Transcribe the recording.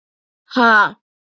Ha?